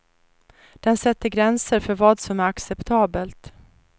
Den sätter gränser för vad som är acceptabelt.